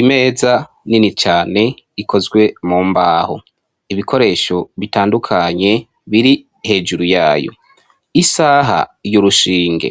Imeza nini cane, ikozwe mu mbaho, ibikoresho bitandukanye biri hejuru yayo. Isaha y'urushinge,